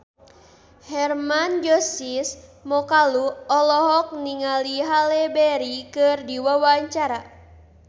Hermann Josis Mokalu olohok ningali Halle Berry keur diwawancara